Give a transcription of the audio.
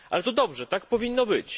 Ale to dobrze, tak powinno być.